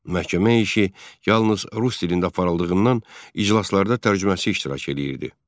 Məhkəmə işi yalnız rus dilində aparıldığından iclaslarda tərcüməçi iştirak eləyirdi.